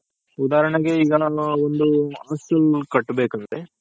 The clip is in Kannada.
ಉದರ್ನೆಗೆ ಈಗ ನಾನು ಒಂದ್ ಹಾಸ್ಟೆಲ್ ಕಟ್ಬೇಕ್ ಆದ್ರೆ